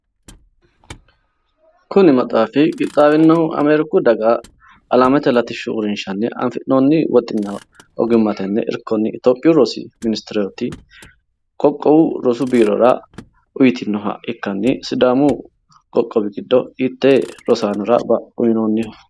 Kuni maxaafi qixxaawinohu ameeriku daga alamete latishshu uurrinshanni afinoonni woxinna ogimmate irkonni afi'noonni itiyophiyu rosu ministere qoqqowu rosu biirora uytinoha ikkanni sidaamu qoqqowi giddo hittee rosaanora uyinoonniho?